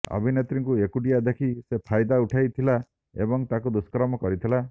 ଅଭିନେତ୍ରୀଙ୍କୁ ଏକୁଟିଆ ଦେଖି ସେ ଫାଇଦା ଉଠାଇଥିଲା ଏବଂ ତାଙ୍କୁ ଦୁଷ୍କର୍ମ କରିଥିଲା